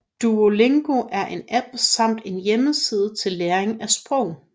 Duolingo er en app samt en hjemmeside til læring af sprog